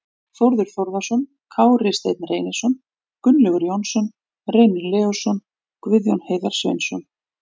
Þórður Þórðarson, Kári Steinn Reynisson, Gunnlaugur Jónsson, Reynir Leósson, Guðjón Heiðar Sveinsson